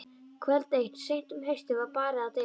Kvöld eitt seint um haustið var barið að dyrum.